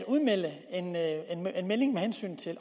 udmelding med hensyn til